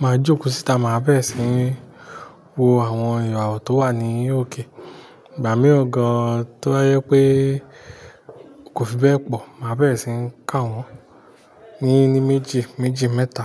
Máa jókòó síta, màá bẹ̀rẹ̀ síi wo àwọn ìràwọ̀ tó wà ní òkè. Ìgbà mìíràn gan-an tó bá yẹ pé kò fi bẹ́ẹ̀ pọ̀, màá bẹ̀rẹ̀ síí kà wọ́n ní ní méjì, méjì mẹ́ta.